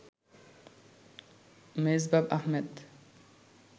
Mezbah Ahmed